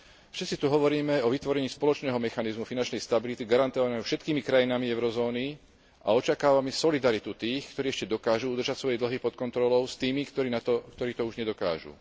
Všetci tu hovoríme o vytvorení spoločného mechanizmu finančnej stability garantovaného všetkými krajinami eurozóny a očakávame solidaritu tých, ktorí ešte dokážu udržať svoje dlhy pod kontrolou, s tými, ktorí to už nedokážu.